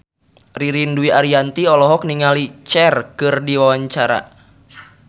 Ririn Dwi Ariyanti olohok ningali Cher keur diwawancara